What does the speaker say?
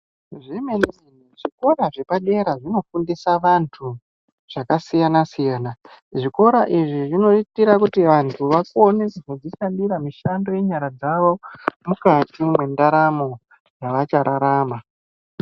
Zvemene-mene zvikora zvepadera zvinofundisa vantu zvakasiyana-siyana zvikora izvi zvinoitira kuti vantu vakone kuzozvishandira mishando yenyara dzavo mukati mwendaramo yavachararama.